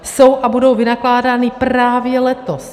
Jsou a budou vynakládány právě letos.